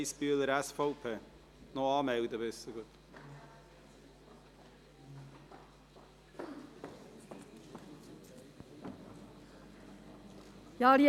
Zu Ziel 1: Der Kanton fördert die Vereinbarkeit von Familie und Beruf, indem sowohl die Wirtschaft wie auch der Kanton vermehrt Teilzeitstellen schaffen.